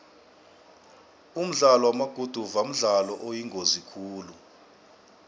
umdlalo wamaguduva mdlalo oyingozi khulu